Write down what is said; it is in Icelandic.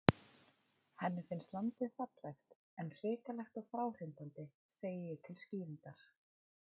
Henni finnst landið fallegt, en hrikalegt og fráhrindandi, segi ég til skýringar.